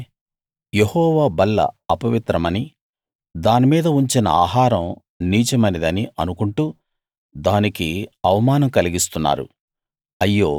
మీరైతే యెహోవా బల్ల అపవిత్రమని దాని మీద ఉంచిన ఆహారం నీచమైనదని అనుకుంటూ దానికి అవమానం కలిగిస్తున్నారు